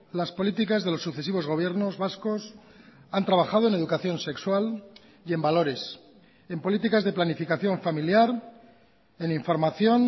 las políticas de los sucesivos gobiernos vascos han trabajado en educación sexual y en valores en políticas de planificación familiar en información